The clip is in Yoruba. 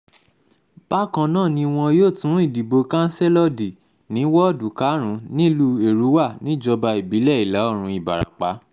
bákan náà ni wọn yóò tún ìdìbò kansílò dì ní woodu karùn-ún nílùú èrúwà níjọba èrúwà níjọba ìbílẹ̀ ìlà-oòrùn ìbarapá